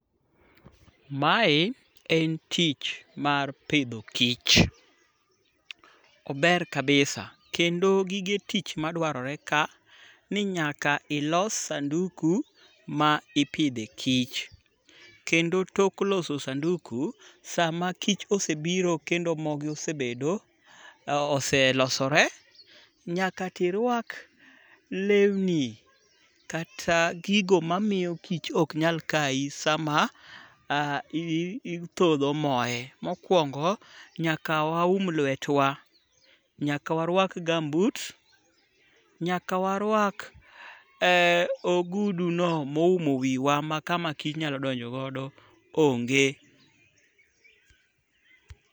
Mae en tich mar pidho kich, ober kabisa kendo gige tich madwarre ka ni nyaka iloso sanduku ma ipidhe kich. Kendo tok loso sanduku, sama kich osebiro kendo ma osebedo, oselosore nyaka to iruak lewni kata gigo mamiyo kich ok nyal kayi sama ithodho moe. Mokuongo nyaka waum lwetwa, nyaka waruak gambut nyaka waruak oguduno moumo wiwa makama kich nyalo donjo godo onge.